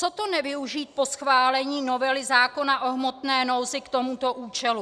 Co to nevyužít po schválení novely zákona o hmotné nouzi k tomuto účelu?